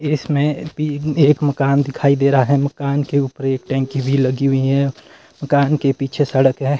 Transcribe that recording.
इसमें भी एक मकान दिखाई दे रहा है मकान के ऊपर एक टंकी भी लगी हुई है मकान के पीछे सड़क है।